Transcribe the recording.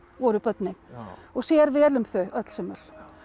voru börnin og sér vel um þau öll sömul